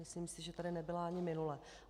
Myslím si, že tady nebyla ani minule.